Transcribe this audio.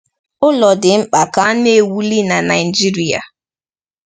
Ụlọ dị mkpa ka na-ewuli na Naijiria.